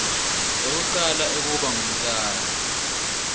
ekucala ekuba ngumtali